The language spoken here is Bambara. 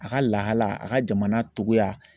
A ka lahalaya a ka jamana togoya